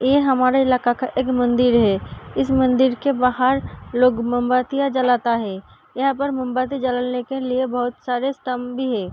ये हमारे इलाका का एक मंदिर है। इस मंदिर के बाहर लोग मोमबत्तियां जलाता है। यहाँ पर मोमबत्ती जलाने के लिए बहोत सारे स्तंभ भी है।